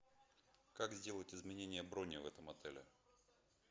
как сделать изменение брони в этом отеле